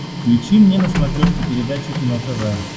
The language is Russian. включи мне на смотрешке передачу кино тв